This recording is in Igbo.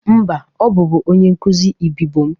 Mba, ọ bụbụ onyenkụzị ibibio m